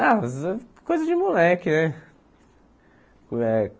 Ah, coisa de moleque, né?